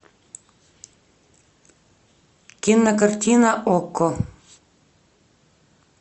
кинокартина окко